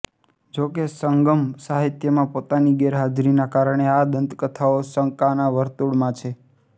જોકે સંગમ સાહિત્યમાં પોતાની ગેરહાજરીના કારણે આ દંતકથાઓ શંકાના વર્તુળમાં છે